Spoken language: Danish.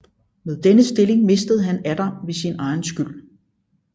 Men denne stilling mistede han atter ved sin egen skyld